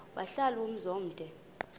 wahlala umzum omde